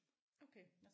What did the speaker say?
Okay